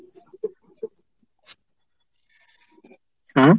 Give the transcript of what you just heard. হ্যাঁ?